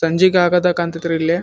ಸಂಜೆಗೆ ಆಗತ್ತೆ ಕಾಣ್ತಾತ್ತೆ ರೀ ಇಲ್ಲಿ.